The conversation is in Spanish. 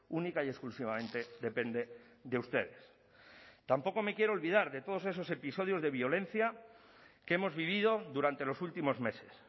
única y exclusivamente depende de ustedes tampoco me quiero olvidar de todos esos episodios de violencia que hemos vivido durante los últimos meses